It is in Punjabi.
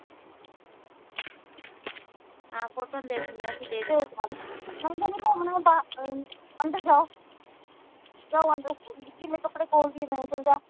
ਹਾਂ ਫੋਟੋਆਂ ਦੇਖਲੀਆਂ ਸੀ ਤੇਰੀਆਂ